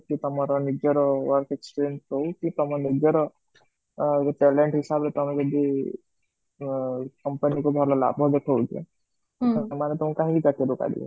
କି ତମର ନିଜର work experience ହୋଉ କି ତମ ନିଜର ଅ ତଳେଣତ ହିସାବ ରେ ଟାଏ ଯଦି company କୁ ଭଲ ଲାଭ ତ ସେମାନେ ତାଙ୍କୁ କାହିଁ ଚାକିରୀରୁ କାଢିବେ?